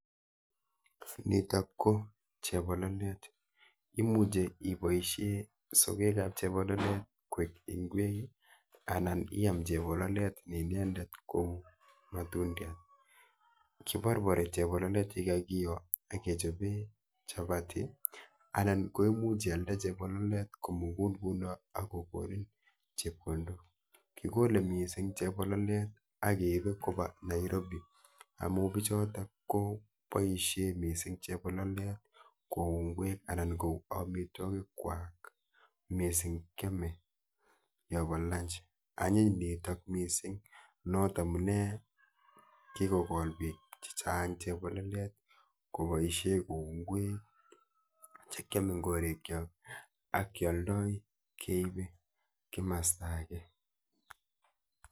Nitok ko chepololet. Imuche ipoishe sogekap chepololet kwek ing'wek anan iam chepololet ne inendet ko matundiat. Kiporpori chepololet yekakiyo akechope chapati anan ko imuch ialde chepololet komukul ku not akokonin chepkondok. Kikole mising chepololet akeipe Nairobi amu bichotok kopoishe mising chepololet kou ng'wek anan kou amitwokikwa mising kyome yopo lunch. Anyiny nitok mising not amune kikolol biik chechang chepololet kopoishe kou ng'wek chekyome eng korikchok akyoldoi keipe masta ake.